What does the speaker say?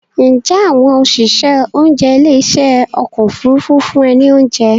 Ǹjẹ́ àwọn òṣìṣẹ́ oúnjẹ ilé ìṣe ọkọ̀ Òfurufú fún ẹ ní oúnjẹ?